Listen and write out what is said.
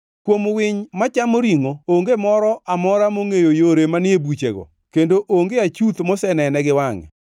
Kuom winy machamo ringʼo, onge moro amora mongʼeyo yore manie buchego, kendo onge achuth mosenene gi wangʼe.